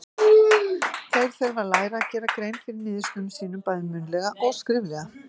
Þeir þurfa að læra að gera grein fyrir niðurstöðum sínum, bæði munnlega og skriflega.